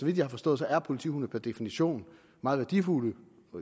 jeg har forstået er politihunde per definition meget værdifulde